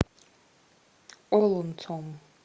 олонцом